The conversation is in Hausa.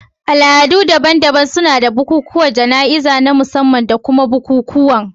Al'adu daban-daban suna da bukukuwan jana'izar na musamman da kuma bukukuwan